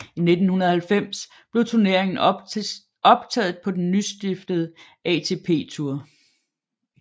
I 1990 blev turneringen optaget på den nystiftede ATP Tour